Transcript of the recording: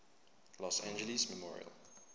los angeles memorial